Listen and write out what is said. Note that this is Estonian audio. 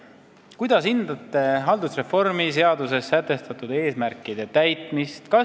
Esimene küsimus: "Kuidas hindate haldusreformi seaduses seatud eesmärkide täitmist?